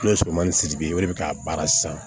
N'o ye somanni sigi ye o de be k'a baara san